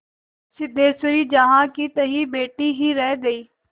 सिद्धेश्वरी जहाँकीतहाँ बैठी ही रह गई